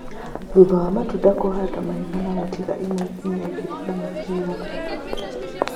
Thutha wa matunda kũhanda mahiga na gũtiga ĩmwe nginya igĩrĩ na mũbira